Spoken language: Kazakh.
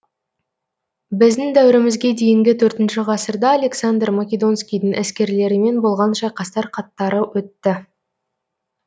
біздің дәуірімізге дейінгі төртінші ғасырда александр македонскийдің әскерлерімен болған шайқастар қатары өтті